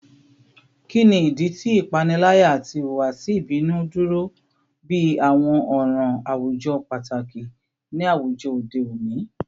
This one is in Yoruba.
Kini idi ti ipanilaya ati ihuwasi ibinu duro bi awọn ọran awujọ pataki ni awujọ ode oni?